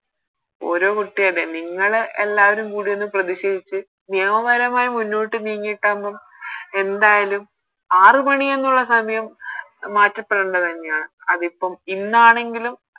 ഓരോ കുട്ടിയുണ അതെ നിങ്ങള് എല്ലാരും കൂടി ഒന്ന് പ്രതിഷേധിച്ച് നിയമപരമായി മുന്നോട്ട് നീങ്ങിട്ടാവുമ്പോ എന്തായാലും ആറ് മണി എന്നുള്ള സമയം മാറ്റപ്പെടേണ്ട തന്നെയാണ് അതിപ്പോ ഇന്നാണെങ്കിലും